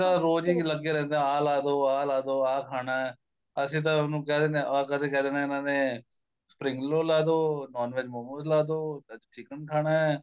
ਤਾਂ ਰੋਜ ਈ ਲੱਗੇ ਰਹਿੰਦੇ ਆ ਲਾਦੋ ਆ ਲਾਦੋ ਆ ਖਾਣਾ ਅਸੀਂ ਤਾਂ ਉਹਨੂੰ ਕਹਿ ਦਿਨੇ ਆ ਕਦੀ ਕਹਿ ਦੇਣਾ ਇਹਨਾ ਨੇ spring rolls ਲਾਦੋ NON VEG ਮੋਮੋਸ ਲਾਦੋ ਅੱਜ chicken ਖਾਣਾ